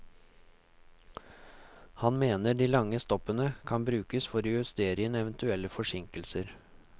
Han mener de lange stoppene brukes for å justere inn eventuelle forsinkelser.